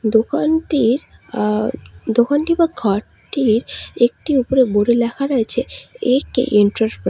দোকানটির আ দোকানটি বা ঘরটির একটি উপরে বোর্ডে লেখা রয়েছে এ_কে এন্টারপ্রাইজ ।